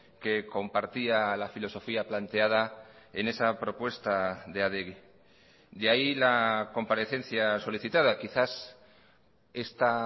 que compartía la filosofía planteada en esa propuesta de adegi de ahí la comparecencia solicitada quizás esta